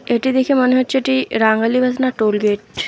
এটি দেখে মনে হচ্ছে এটি টোল গেট ।